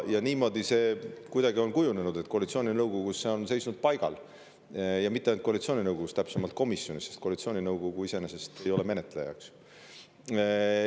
Niimoodi see kuidagi on kujunenud, et koalitsiooninõukogus on see seisnud paigal, ja mitte ainult koalitsiooninõukogus, täpsemalt öeldes komisjonis, sest koalitsiooninõukogu iseenesest ei ole menetleja.